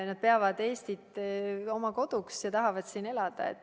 Nad peavad Eestit oma koduks ja tahavad siin elada.